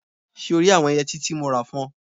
So rí àwọn yẹtí tí mo rà fún ọ?